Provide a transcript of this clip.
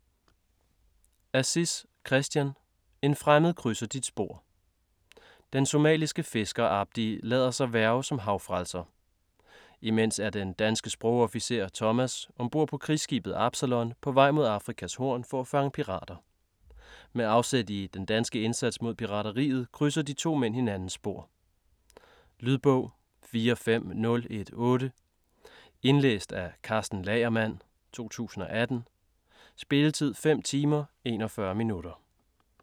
Aziz, Christian: En fremmed krydser dit spor Den somaliske fisker Abdi lader sig hverve som havfrelser. Imens er den danske sprogofficer, Thomas ombord på krigsskibet Absalon på vej mod Afrikas Horn for at fange pirater. Med afsæt i den danske indsats mod pirateriet krydser de to mænd hinandens spor. Lydbog 45018 Indlæst af Karsten Lagermann, 2018. Spilletid: 5 timer, 41 minutter.